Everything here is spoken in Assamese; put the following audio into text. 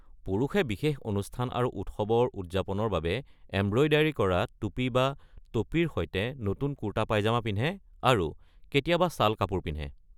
পুৰুষে বিশেষ অনুষ্ঠান আৰু উৎসৱৰ উদযাপনৰ বাবে এম্ব্ৰয়ডাৰী কৰা টুপী বা ট’পিৰ সৈতে নতুন কুৰ্তা পায়জামা পিন্ধে আৰু কেতিয়াবা শ্বাল-কাপোৰ পিন্ধে।